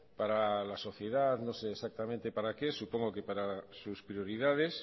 para la sociedad no sé exactamente para qué supongo que para sus prioridades